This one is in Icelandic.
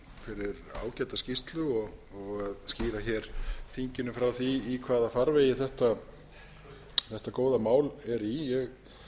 fyrir ágæta skýrslu og að skýra þinginu frá því í hvaða farvegi þetta góða mál er í ég